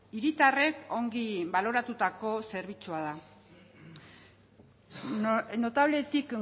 hiritarrek ongi baloratutako zerbitzua da notabletik